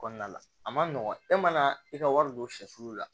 Kɔnɔna la a man nɔgɔn e mana i ka wari don sɛfu la